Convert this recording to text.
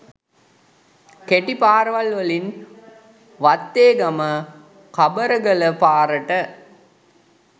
කෙටි පාරවල් වලින් වත්තේගම – කබරගල පාරට